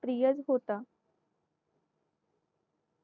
प्रिय होता